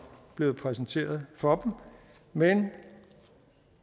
blevet præsenteret for dem men